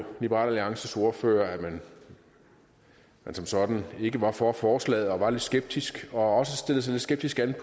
liberal alliances ordfører at man som sådan ikke var for forslaget og var lidt skeptisk og også stillede sig lidt skeptisk an